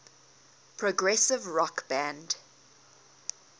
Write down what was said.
progressive rock band